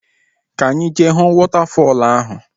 Ka any jee huu wọtafọl ahu!